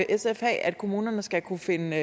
sf have kommunerne skal kunne finde